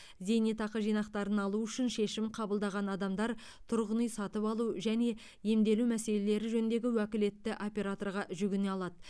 зейнетақы жинақтарын алу үшін шешім қабылдаған адамдар тұрғын үй сатып алу және емделу мәселелері жөніндегі уәкілетті операторға жүгіне алады